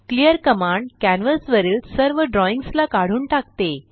clear command canvas वरील सर्व drawings ला काढून टाकते